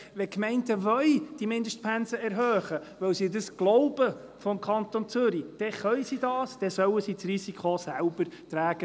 Wenn die Gemeinden die Mindestpensen erhöhen wollen, weil sie das aus dem Kanton Zürich glauben, dann sollen sie es tun, und sie sollen das Risiko selber tragen.